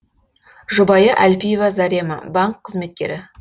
жұбайы әлпиева зарема банк қызметкері